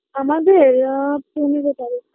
আমাদের আ পনেরো তারিক